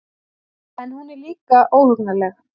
En hún er líka óhugnanleg.